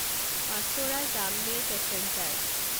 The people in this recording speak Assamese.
পাচোৰা জামনেৰ পেছেঞ্জাৰ